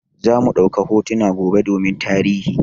Zamu ɗauka hotuna gobe domin tarihi.